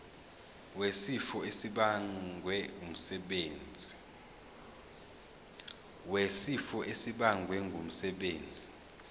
wesifo esibagwe ngumsebenzi